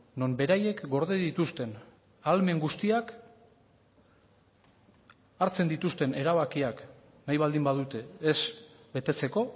non beraiek gorde dituzten ahalmen guztiak hartzen dituzten erabakiak nahi baldin badute ez betetzeko